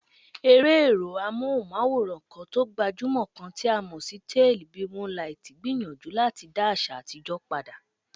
Eré èrò amóhùnmáwòrán kan tó gbajúmò kan tí a mọ̀ sí Tálíì bì múńlaitì gbìyànjú láti dá àṣà àtijó padà.